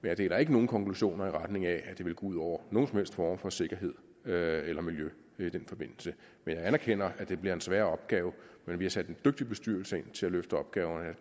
jeg deler ikke nogen konklusioner i retning af at det vil gå ud over nogen helst former for sikkerhed eller miljø i den forbindelse men jeg anerkender at det bliver en sværere opgave men vi har sat en dygtig bestyrelse ind til at løfte opgaverne og